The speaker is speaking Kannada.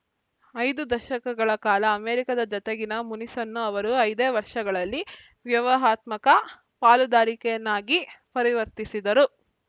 ಐದು ದಶಕಗಳ ಕಾಲ ಅಮೆರಿಕದ ಜತೆಗಿನ ಮುನಿಸನ್ನು ಅವರು ಐದೇ ವರ್ಷಗಳಲ್ಲಿ ವ್ಯೂಹಾತ್ಮಕ ಪಾಲುದಾರಿಕೆಯನ್ನಾಗಿ ಪರಿವರ್ತಿಸಿದರು